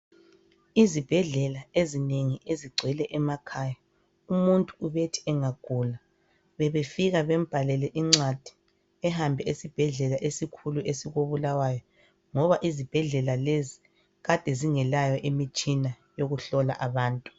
Izibhedlela ezinengi ezigcwele emakhaya umuntu obethi engagula bebefika bembalele incwadi ehambe esibhedlela esikhulu esikoBulawayo ngoba izibhedlela lezi kade zingelayo imitshina yokuhlola abantu.